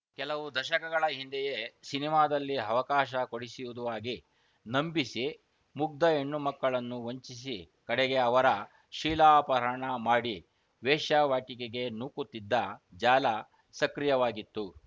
ಕೆಲವು ದಶಕಗಳ ಹಿಂದೆಯೇ ಸಿನಿಮಾದಲ್ಲಿ ಅವಕಾಶ ಕೊಡಿಸುವುದಾಗಿ ನಂಬಿಸಿ ಮುಗ್ದ ಹೆಣ್ಣು ಮಕ್ಕಳನ್ನು ವಂಚಿಸಿ ಕಡೆಗೆ ಅವರ ಶೀಲಾಪಹರಣ ಮಾಡಿ ವೇಶ್ಯಾವಾಟಿಕೆಗೆ ನೂಕುತ್ತಿದ್ದ ಜಾಲ ಸಕ್ರಿಯವಾಗಿತ್ತು